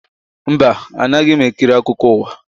Mba, anaghị m ekiri akụkọ ụwa